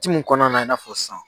Ci mun kɔnɔna na i n'a fɔ sisan